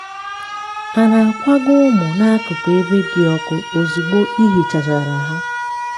a na-akwaga ụmụ n'akụkụ ebe di ọkụ ozugbo ihichachara ha.